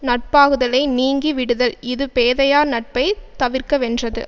நட்பாகுதலை நீங்கி விடுதல் இது பேதையார் நட்பை தவிர்கவென்றது